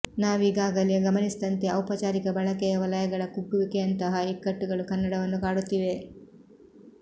ನಾವೀಗಾಗಲೇ ಗಮನಿಸಿದಂತೆ ಔಪಚಾರಿಕ ಬಳಕೆಯ ವಲಯಗಳ ಕುಗ್ಗುವಿಕೆಯಂತಹ ಇಕ್ಕಟ್ಟುಗಳು ಕನ್ನಡವನ್ನು ಕಾಡುತ್ತಿವೆ